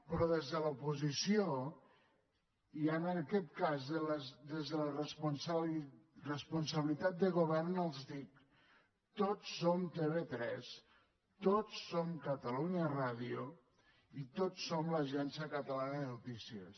però des de l’oposició i en aquest cas des de la responsabilitat de govern els dic tots som tv3 tots som catalunya ràdio i tots som l’agència catalana de notícies